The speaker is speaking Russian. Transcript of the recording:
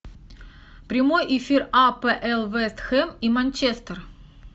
прямой эфир апл вест хэм и манчестер